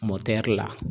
Mɔtɛri la